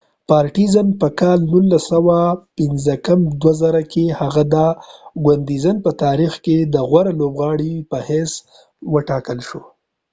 په 1995 کې هغه د ګوندزن partizan په تاریخ کې د غوره لوبغاړی په حیث و ټاکل شو